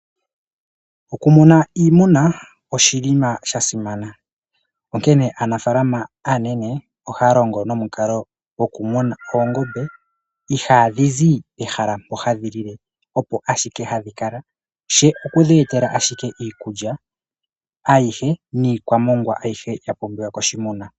Oku muna iimuna oshinima sha simana. Onkene aanafalama aanene ohaya longo nomukalo goku muna oongombe ihadhi zi pehala mpoka hadhi lile opo ashike hadhi kala she okudhi etela iikulya ayihe niikwamongwa ayihe ya pumbiwa koshimuna.